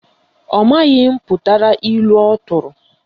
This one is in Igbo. Ọ maghị mputara ilu ọ tụrụ